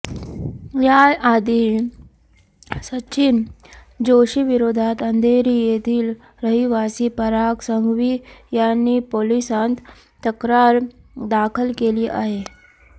याआधीही सचिन जोशीविरोधात अंधेरी येथील रहिवासी पराग संघवी यांनी पोलिसांत तक्रार दाखल केली आहे